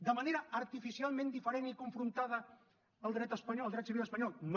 de manera artificialment diferent i confrontada al dret espanyol al dret civil espanyol no